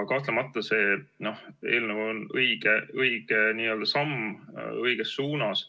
Kahtlemata see eelnõu on õige samm õiges suunas.